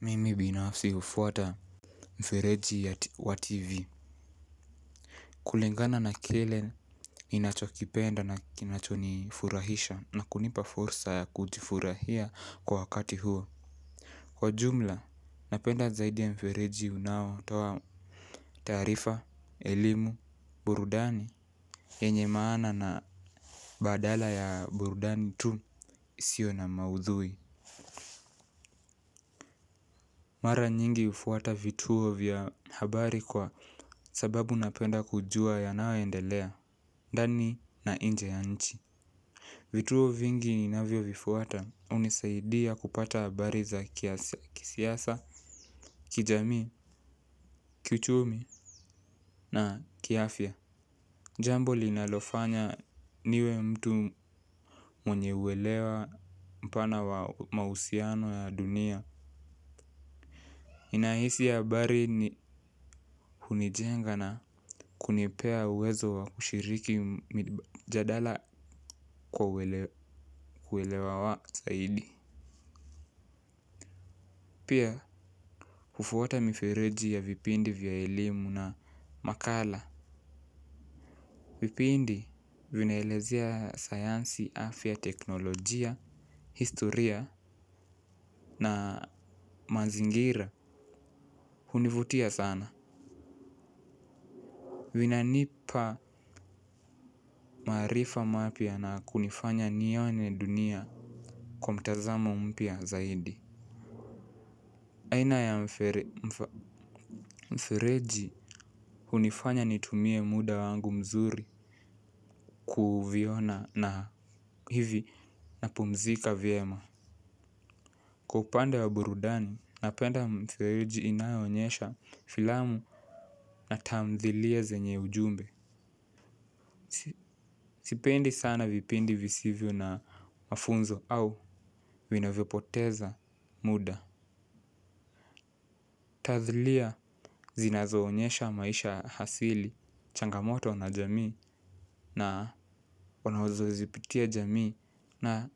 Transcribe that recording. Mimi binafsi hufuata mfereji wa TV. Kulingana na kile ninacho kipenda kinacho nifurahisha na kunipa fursa ya kujifurahia kwa wakati huo. Kwa jumla, napenda zaidi ya mfereji unao toa taarifa, elimu, burudani yenye maana na badala ya burudani tu isiyo na maudhui. Mara nyingi hufuata vituo vya habari kwa sababu napenda kujua yanayoendelea, ndani na nje ya nchi. Vituo vingi ninavyo vifuata hunisaidia kupata habari za kisiasa, kijamii, kichumi na kiafya. Jambo linalofanya niwe mtu mwenye uelewa mpana wa mahusiano ya dunia. Ninahisi habari ni hunijenga na kunipea uwezo wa kushiriki mjadala kwa uwelewa wa zaidi. Pia hufuwata mifereji ya vipindi vya elimu na makala. Vipindi vinaelezea sayansi afya teknolojia, historia na mazingira hunivutia sana. Vinanipa maarifa mapya na kunifanya nione dunia kwa mtazamo mpya zaidi. Aina ya mfereji hunifanya nitumie muda wangu mzuri kuviona na hivi na pumzika vyema kwa upande wa burudani napenda mifereji inayoonyesha filamu na tamthilia zenye ujumbe sipendi sana vipindi visivyo na mafunzo au vinavyopoteza muda tathlia zinazoonyesha maisha ya asili changamoto na jamii na wanazo zipitia jamii na